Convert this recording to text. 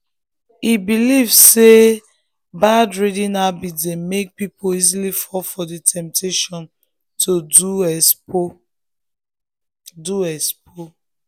e believe say bad reading habit dey make people easily fall for the temptation to do expo. do expo.